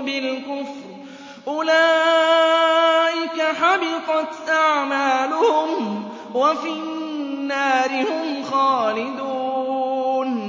بِالْكُفْرِ ۚ أُولَٰئِكَ حَبِطَتْ أَعْمَالُهُمْ وَفِي النَّارِ هُمْ خَالِدُونَ